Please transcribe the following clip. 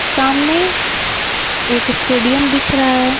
सामने एक स्टेडियम दिख रहा है।